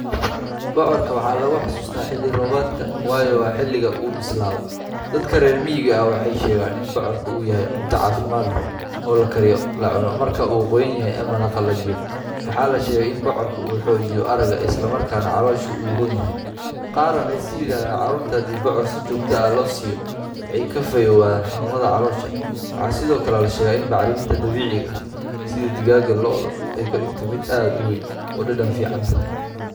Bocorka waxaa lagu xasuustaa xilli roobaadka, waayo waa xilliga uu bislaado. Dadka reer miyiga ah waxay sheegeen in bocorka uu yahay cunto caafimaad leh, oo la kariyo lana cuno marka uu qoyan yahay ama la qalajiyo. Waxaa la sheegay in bocorka uu xoojiyo aragga, isla markaana caloosha u roon yahay. Qaar waxay yiraahdaan carruurta haddii bocor si joogto ah loo siiyo, way ka fayoobaan xanuunada caloosha. Waxaa sidoo kale la sheegaa in bacriminta dabiiciga ah sida digada lo'da ay ka dhigto mid aad u weyn oo dhadhan fiican leh.